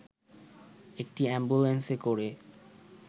একটি অ্যাম্বুলেন্সে করে